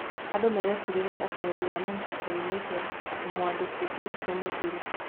Andũ marecirĩria atĩ wendi wa Maũndũ United mũmwandĩkithia nĩ mũthuri.